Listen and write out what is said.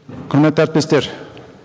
құрметті әріптестер